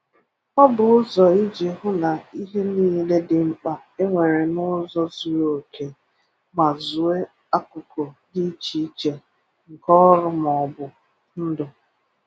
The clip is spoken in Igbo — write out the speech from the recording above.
Ọ bụ ụzọ iji hụ na ihe niile dị mkpa e nwere n ụzọ zuru oke ma zụọ akụkụ dị iche iche nke ọrụ ma ọ bụ ndụ